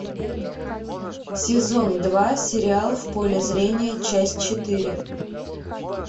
сезон два сериал в поле зрения часть четыре